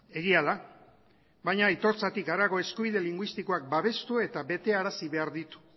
egia da baina aitortzatik harago eskubide linguistikoak babestu eta betearazi behar ditu